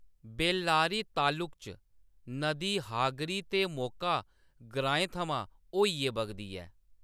बेल्लारी तालुक च, नदी हागरी ते मोका ग्राएं थमां होइयै बगदी ऐ।